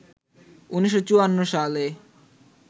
১৯৫৪ সালে